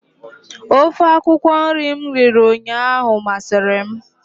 Ofe akwukwọ nri m riri ụnyaahụ masịrị m.